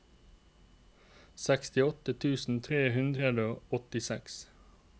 sekstiåtte tusen tre hundre og åttiseks